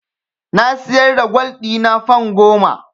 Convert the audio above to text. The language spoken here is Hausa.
Na siyar da gwal ɗina fan goma.